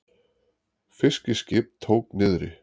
Fiskiskip tók niðri